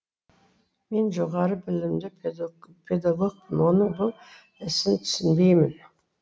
мен жоғары білімді педагогпын оның бұл ісін түсінбеймін